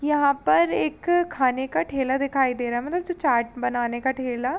यहाँ पर एक खाने का ठेला दिखाई दे रहा है मतलब जो चाट बनाने का ठेला --